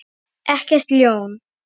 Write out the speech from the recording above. Ekkert ljón.